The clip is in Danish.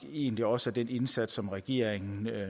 egentlig også at den indsats som regeringen